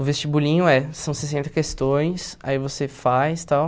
O vestibulinho é, são sessenta questões, aí você faz, tal.